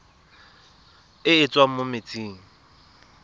e e tswang mo metsing